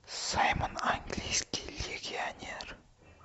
саймон английский легионер